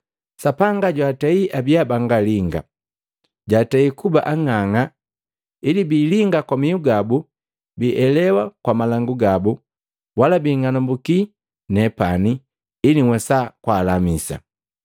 “Sapanga jwatei abiya bangalinga, jatei kuba ang'ang'a, ili biilinga kwa mihu gabu, bielewa kwa malangu gabu, wala biing'anambukii nepani, ili nhwesaa kwaalamisa.”